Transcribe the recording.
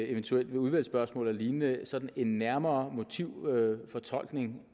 eventuelt ved udvalgsspørgsmål eller lignende sådan en nærmere motivfortolkning